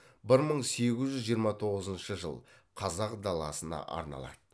бір мың сегіз жүз жиырма тоғызыншы жыл қазақ даласына арналады